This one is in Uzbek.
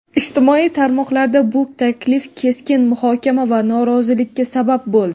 Ijtimoiy tarmoqlarda bu taklif keskin muhokama va norozilikka sabab bo‘ldi.